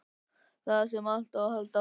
Þar sem allt á að halda áfram.